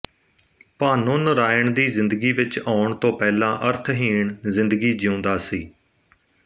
ਭਾਨੋ ਨਰਾਇਣ ਦੀ ਜ਼ਿੰਦਗੀ ਵਿੱਚ ਆਉਣ ਤੋਂ ਪਹਿਲਾਂ ਅਰਥਹੀਣ ਜ਼ਿੰਦਗੀ ਜੀਉਂਦਾ ਸੀ